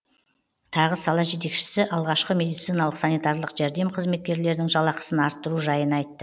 тағы сала жетекшісі алғашқы медициналық санитарлық жәрдем қызметкерлерінің жалақысын арттыру жайын айтты